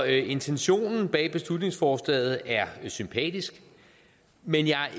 intentionen bag beslutningsforslaget er sympatisk men jeg er